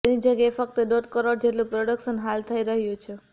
તેની જગ્યાએ ફક્ત દોઢ કરોડ જેટલું પ્રોડક્શન હાલ થઇ રહ્યું છે